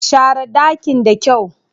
Share ɗakin da kyau.